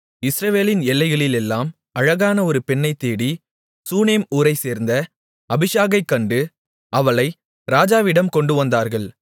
இஸ்ரவேலின் எல்லைகளிலெல்லாம் அழகான ஒரு பெண்ணைத் தேடி சூனேம் ஊரைச்சேர்ந்த அபிஷாகைக் கண்டு அவளை ராஜாவிடம் கொண்டுவந்தார்கள்